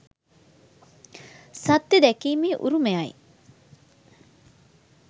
සත්‍යය දැකීමේ උරුමයයි